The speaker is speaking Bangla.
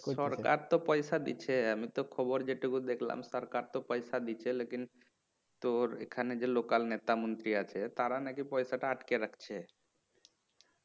সরকার তো পয়সা দিছে আমি তো খবর যেইটুকু দেখলাম সরকার তো পয়সা দিছে লেকিন তোর এখানে যে local নেতা মন্ত্রী আছে তারা নাকি পয়সাটা আটকে রাখছে